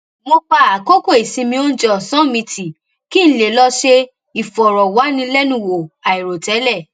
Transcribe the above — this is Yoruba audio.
mo pa àkókò ìsinmi oúnjẹ òsán mi tì kí n lè lọ ṣe ìfòròwánilénuwò àìròtẹlẹ